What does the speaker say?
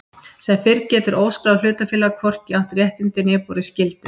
Sem fyrr segir getur óskráð hlutafélag hvorki átt réttindi né borið skyldur.